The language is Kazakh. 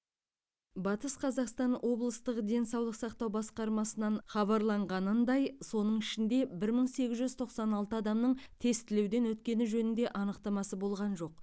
батыс қазақстан облыстық денсаулық сақтау басқармасынан хабарлағанындай соның ішінде бір мың сегіз жүз тоқсан алты адамның тестілеуден өткені жөнінде анықтамасы болған жоқ